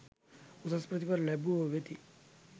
උසස් ප්‍රථිපල ලැබුවෝ වෙති.